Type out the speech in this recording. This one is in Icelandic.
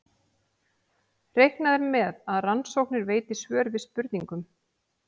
Reiknað er með að rannsóknir veiti svör við spurningum.